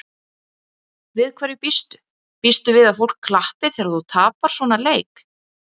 Við hverju býstu, býstu við að fólk klappi þegar þú tapar svona leik?